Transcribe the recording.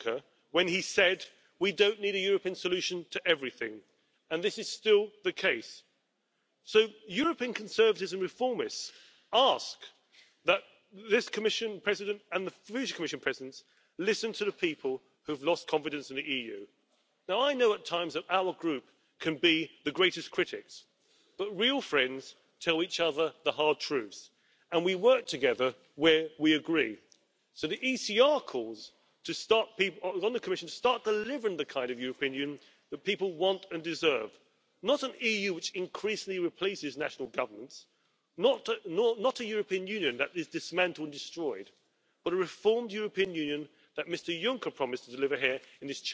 Frau Präsidentin, liebe Kolleginnen, liebe Kollegen! Auch ich möchte mich zum Schluss bedanken für die konstruktive Diskussion, die wir hatten. Wir spüren, dass wir uns im Europäischen Parlament nach wie vor in einem Arbeitsmodus befinden, wo wir Antworten auf die Herausforderungen geben wollen. Und gerade als Europäisches Parlament können wir stolz sein auf das, was wir vorgelegt und bewegt haben. Ein Punkt ist uns dabei extrem wichtig Wir müssen es schaffen, im Jahr 2018 in der Migrationsfrage Antworten zu geben. Sonst werden uns die Bürger die Frage stellen Warum ist hier nichts passiert? Warum konntet ihr das Thema nicht auf den Weg bringen? Deswegen hat es für uns oberste Priorität. Von den Zukunftsdebatten, die zur Rede der Lage der Union gehören, möchte ich noch mal zwei Punkte herausgreifen, die uns wichtig sind. Das Eine ist die Sicherheit, das Sicherheitsgefühl der Menschen. Das Zweite ist die Fairness in